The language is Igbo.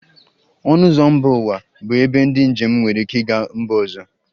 Ọnụ ụzọ mba ụwa bụ ebe ndị njem nwere ike ịga mba ọzọ